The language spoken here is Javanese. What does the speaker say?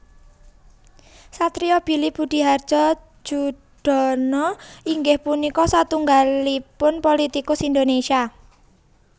Satrio Billy Budihardjo Joedono inggih punika satunggalipun politikus Indonésia